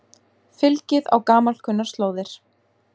Fylgið á gamalkunnar slóðir